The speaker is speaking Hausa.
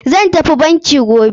Zan tafi banki gobe.